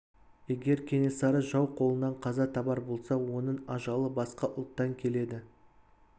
егер кенесары жау қолынан қаза табар болса оның ажалы басқа ұлттан келеді